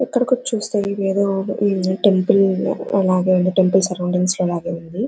ఇక్కడికి వచ్చి చూస్తే ఇదేదో టెంపుల్ ఈ టెంపుల్ లాగా ఉంది.